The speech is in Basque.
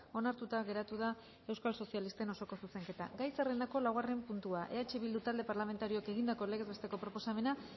onartuta geratu da euskal sozialisten osoko zuzenketa gai zerrendako laugarren puntua eh bildu talde parlamentarioak egindako legez besteko proposamena